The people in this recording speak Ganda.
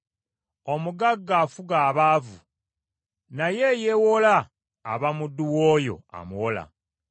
Omugagga afuga abaavu, naye eyeewola aba muddu w’oyo amuwola.